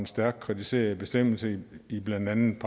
stærkt kritiserede bestemmelser i blandt andet